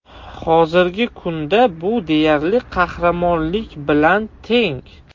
Hozirgi kunda bu deyarli qahramonlik bilan teng.